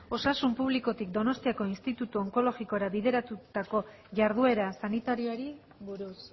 osasun publikotik donostiako institutu onkologikora bideratutako jarduera sanitarioari buruz